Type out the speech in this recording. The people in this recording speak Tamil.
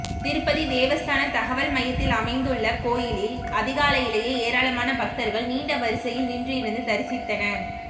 திருப்பதி தேவஸ்தான தகவல் மையத்தில் அமைந்துள்ள கோவிலில் அதிகாலையிலேயே ஏராளமான பக்தர்கள் நீண்ட வரிசையில் நின்றிருந்து தரிசித்தனர்